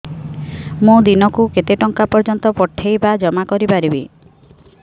ମୁ ଦିନକୁ କେତେ ଟଙ୍କା ପର୍ଯ୍ୟନ୍ତ ପଠେଇ ବା ଜମା କରି ପାରିବି